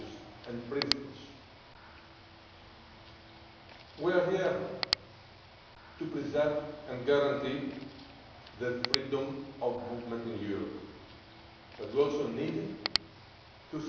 We are here to preserve and guarantee freedom of movement in Europe, but we also need to secure our external European